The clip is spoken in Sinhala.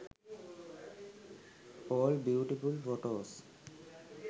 all beautiful photos